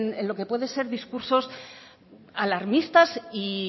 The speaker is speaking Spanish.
pueden ser discursos alarmistas y